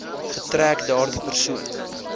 getrek daardie persoon